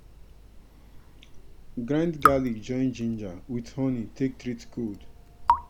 grind garlic join ginger with honey take treat cold.